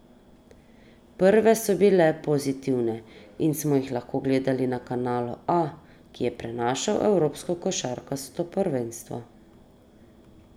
Prve so bile pozitivne in smo jih lahko gledali na Kanalu A, ki je prenašal evropsko košarkarsko prvenstvo.